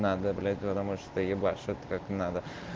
надо блять потому что ты ебашит как надо